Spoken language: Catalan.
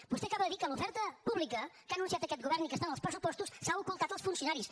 vostè acaba de dir que l’oferta pública que ha anunciat aquest govern i que està en els pressupostos s’ha ocultat als funcionaris